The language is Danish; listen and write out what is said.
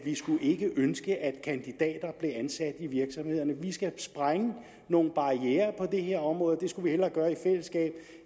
ikke skulle ønske at kandidater blev ansat i virksomhederne vi skal sprænge nogle barrierer på det her område og det skulle vi hellere gøre i fællesskab